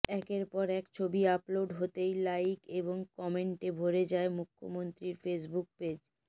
একের পর এক ছবি আপলোড হতেই লাইক এবং কমেন্টে ভরে যায় মুখ্যমন্ত্রীর ফেসবুক পেজ